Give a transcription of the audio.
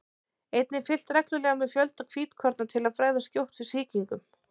einnig er fylgst reglulega með fjölda hvítkorna til að bregðast skjótt við sýkingum